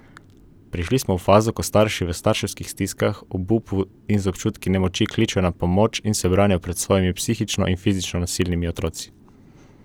Prišli smo v fazo, ko starši v strašanskih stiskah, obupu in z občutki nemoči kličejo na pomoč in se branijo pred svojimi psihično in fizično nasilnimi otroci!